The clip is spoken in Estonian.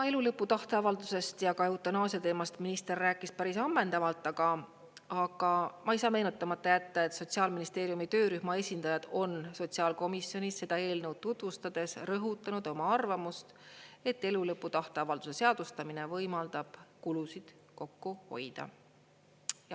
Elulõpu tahteavaldusest ja eutanaasia teemast minister rääkis päris ammendavalt, aga ma ei saa meenutamata jätta, et Sotsiaalministeeriumi töörühma esindajad on sotsiaalkomisjonis seda eelnõu tutvustades rõhutanud oma arvamust, et elulõpu tahteavalduse seadustamine võimaldab kulusid kokku hoida.